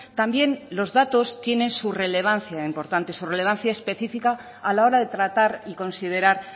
también los datos tienen su relevancia importante su relevancia específica a la hora de tratar y considerar